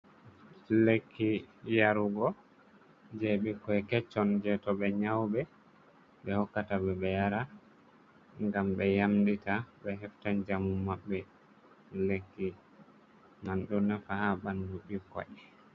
Lekki yarugo je ɓikkoi keccon, je to ɓe nƴaube ɓe hokkata ɓe, ɓe yara ngam ɓe yamɗita ɓe hefta njamu maɓɓe. Lekki man ɗo nafa haa ɓandu ɓikkoi.